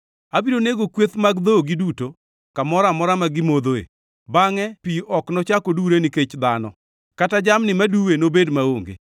Abiro nego kweth mag dhogi duto kamoro amora ma gimodhoe, bangʼe pi ok nochak odure nikech dhano kata jamni ma diduwe nobed maonge.